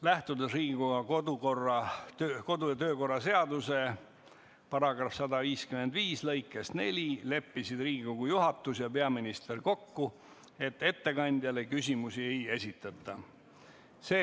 Lähtudes Riigikogu kodu- ja töökorra seaduse § 155 lõikest 4, leppisid Riigikogu juhatus ja peaminister kokku, et ettekandjale küsimusi ei esitata.